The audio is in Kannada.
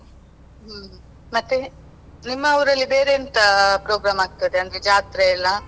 ಹ್ಮ್ ಮತ್ತೆ, ನಿಮ್ಮ ಊರಲ್ಲಿ ಬೇರೆಂತ program ಆಗ್ತದೆ ಅಂದ್ರೆ ಜಾತ್ರೆ ಎಲ್ಲ.